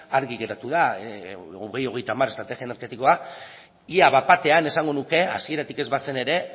argi geratu da bi mila hogeita hamar estrategia energetikoa ia bat batean esango nuke hasieratik ez bazen ere